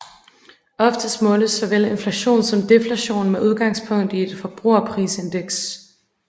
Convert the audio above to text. Oftest måles såvel inflation som deflation med udgangspunk i et forbrugerprisindeks